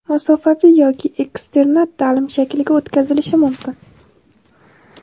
masofaviy yoki eksternat taʼlim shakliga o‘tkazilishi mumkin.